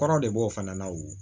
Kɔrɔ de b'o fana la wo